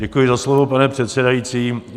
Děkuji za slovo, pane předsedající.